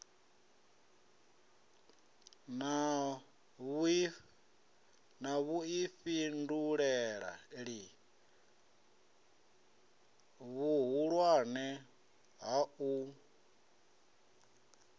na vhuifhinduleli vhuhulwane ha u